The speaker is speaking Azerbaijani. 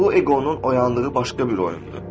Bu eqonun oyandığı başqa bir oyundur.